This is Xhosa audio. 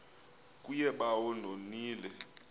kuye bawo ndonile